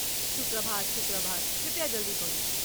शुभ प्रभात शुभ प्रभात, कृपया जल्दी करू।